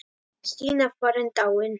Stína farin, dáin.